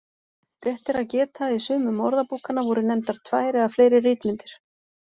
Rétt er að geta að í sumum orðabókanna voru nefndar tvær eða fleiri ritmyndir.